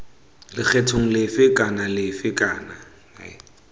lekgethong lefe kana lefe kana